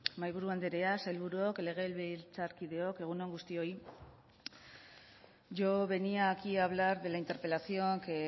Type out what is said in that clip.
mahaiburu andrea sailburuok legebiltzarkideok egun on guztioi yo venía aquí a hablar de la interpelación que